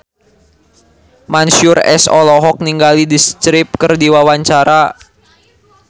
Mansyur S olohok ningali The Script keur diwawancara